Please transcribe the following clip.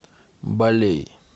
балей